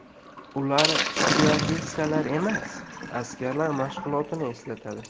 Ular styuardessalar emas, askarlar mashg‘ulotini eslatadi.